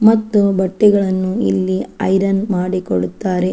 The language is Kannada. ಮತ್ತು ಬಟ್ಟೆಗಳನ್ನು ಇಲ್ಲಿ ಐರನ್ ಮಾಡಿ ಕೊಡುತ್ತಾರೆ.